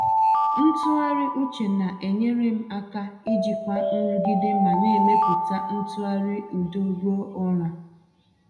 Ntụgharị uche na-enyere m aka ijikwa nrụgide ma na-emepụta ntụgharị udo ruo ụra.